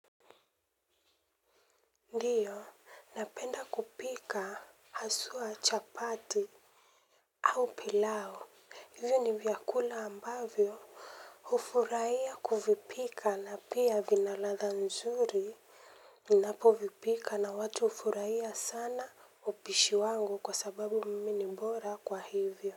Ndiyo, napenda kupika haswa chapati au pilao. Hivyo ni vyakula ambavyo hufuraia kuvipika na pia vina ladha nzuri. Ninapovipika na watu ufuraia sana upishi wangu kwa sababu mimi ni bora kwa hivyo.